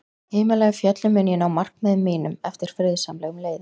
Himalæjafjöllum mun ég ná markmiðum mínum eftir friðsamlegum leiðum.